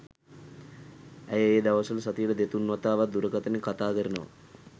ඇය ඒ දවස්වල සතියට දෙතුන් වතාවක් දුරකථනයෙන් කතා කරනවා.